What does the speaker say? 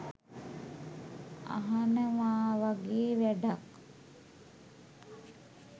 අහනවාවගේ වැඩක්